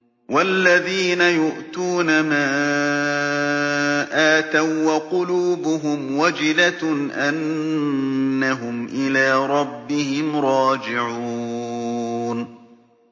وَالَّذِينَ يُؤْتُونَ مَا آتَوا وَّقُلُوبُهُمْ وَجِلَةٌ أَنَّهُمْ إِلَىٰ رَبِّهِمْ رَاجِعُونَ